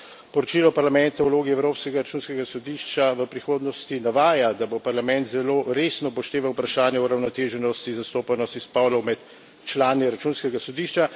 Poročilo Parlamenta o vlogi Evropskega računskega sodišča v prihodnosti navaja, da bo Parlament zelo resno upošteval vprašanje uravnoteženosti zastopanosti spolov med člani Računskega sodišča.